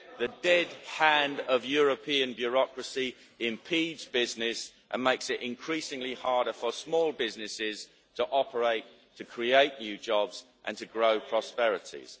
The dead hand of European bureaucracy impedes business and makes it increasingly harder for small businesses to operate, to create new jobs and to grow prosperities.